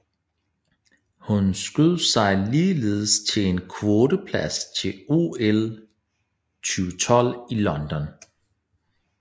Hun skød sig ligeledes til en kvoteplads til OL 2012 i London